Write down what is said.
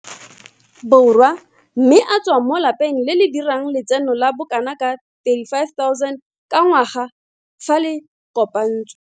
Borwa mme a tswa mo lapeng le le dirang letseno la bokanaka R350 000 ka ngwaga fa le kopantswe.